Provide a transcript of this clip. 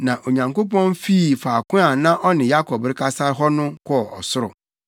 Na Onyankopɔn fii faako a na ɔne Yakob rekasa hɔ no kɔɔ ɔsoro.